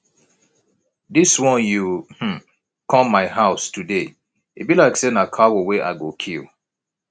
dis wan you um come my house today e be like say na cow wey i go kill